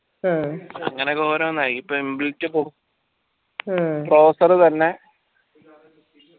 അങ്ങനെ ഓരോന്നായി ഇപ്പോ എന്ത് വെച്ച browser തന്നെ